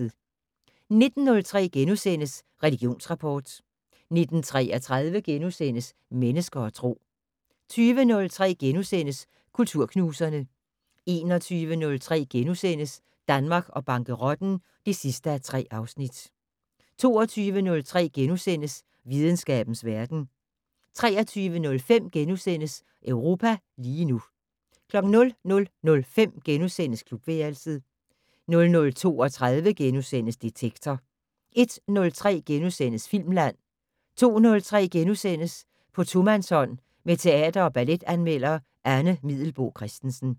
19:03: Religionsrapport * 19:33: Mennesker og Tro * 20:03: Kulturknuserne * 21:03: Danmark og bankerotten (3:3)* 22:03: Videnskabens verden * 23:05: Europa lige nu * 00:05: Klubværelset * 00:32: Detektor * 01:03: Filmland * 02:03: På tomandshånd med teater- og balletanmelder Anne Middelboe Christensen *